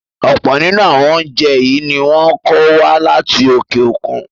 Ọ̀pọ̀ nínú àwọn oúnjẹ yìí ni wọn ń kó wá láti òkè òkun